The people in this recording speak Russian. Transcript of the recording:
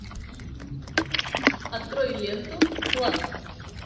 открой ленту клан